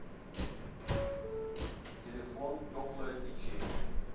телефон теплое течение